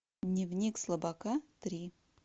дневник слабака три